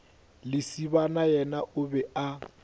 lesibana yena o be a